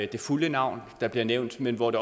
det fulde navn der bliver nævnt men hvor det